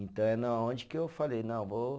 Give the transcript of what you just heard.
Então é na onde que eu falei, não, vou